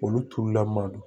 Olu turula man don